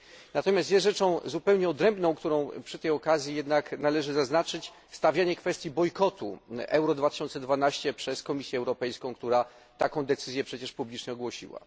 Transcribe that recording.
Natomiast jest rzeczą zupełnie odrębną, którą przy tej okazji należy jednak zaznaczyć, stawianie kwestii bojkotu Euro 2012 przez Komisję Europejską, która taką decyzję przecież publicznie ogłosiła.